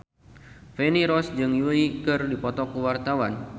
Feni Rose jeung Yui keur dipoto ku wartawan